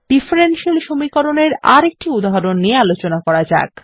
differential সমীকরণ এর আরেকটি উদাহরণ নিয়ে আলোচনা করা যাক